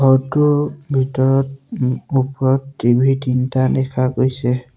ঘৰটোৰ ভিতৰত ওপৰত টি_ভি তিনিটা দেখা গৈছে।